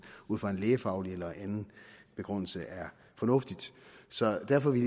ud fra en lægefaglig eller anden begrundelse er fornuftigt så derfor vil